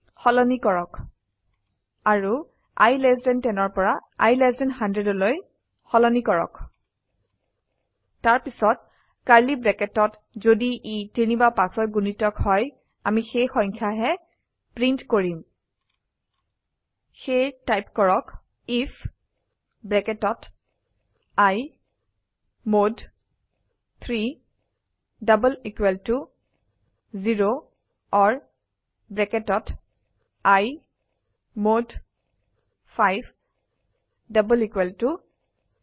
লৈ সলনি কৰক অাৰু i লেছ থান 10 পৰা i লেছ থান 100লৈ সলনি কৰক তাৰপিছত কাৰ্ড়লী ব্ৰেকেটত যদি ই ৩ বা ৫ৰ গুণিতক হয় অামি সেই সংখয়া হে প্ৰীন্ট কৰিম সেয়ে টাইপ কৰক আইএফ ব্ৰেকেটত i mod 3 double equal to 0 or ব্ৰেকেটত i mod 5 double equal to 0